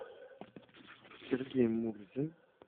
сергей мурзин